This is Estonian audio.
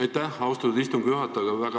Aitäh, austatud istungi juhataja!